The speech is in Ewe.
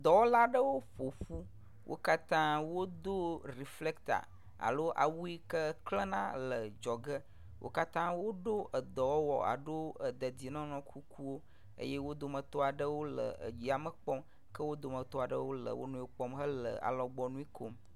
Dɔwɔla aɖewo ƒoƒu wo katã wodo reflector alo awu yi ke kjlena le dzɔge. Wo katã woɖɔ edɔwɔwɔ alo dedienɔnɔ kukuwo eye wo dometɔ aɖewo le yame kpɔm ke wo dometɔ aɖewo le wo nɔewo ƒe ŋkume kpɔm le nu kom